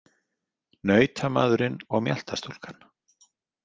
Nautamaðurinn og mjaltastúlkan.